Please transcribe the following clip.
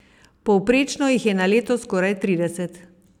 Povprečno jih je na leto skoraj trideset.